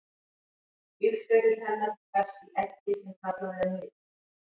lífsferill hennar hefst í eggi sem kallað er nit